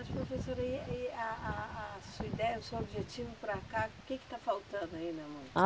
Mas professora, e e a a a sua ideia, o seu objetivo para cá, o que que está faltando ainda mais?